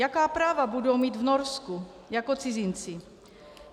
Jaká práva budou mít v Norsku jako cizinci?